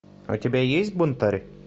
у тебя есть бунтарь